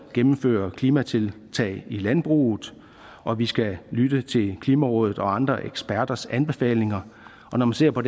gennemføre klimatiltag i landbruget og at vi skal lytte til klimarådet og andre eksperters anbefalinger og når man ser på